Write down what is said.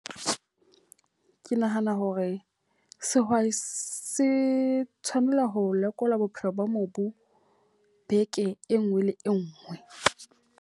Ke nahana hore sehwai se tshwanela ho lekola bophelo ba mobu beke e nngwe le e nngwe.